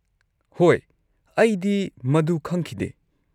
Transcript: ꯍꯣꯏ, ꯑꯩꯗꯤ ꯃꯗꯨ ꯈꯪꯈꯤꯗꯦ꯫